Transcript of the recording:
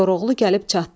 Koroğlu gəlib çatdı.